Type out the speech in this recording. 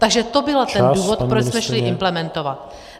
Takže to byl ten důvod, proč jsme šli implementovat.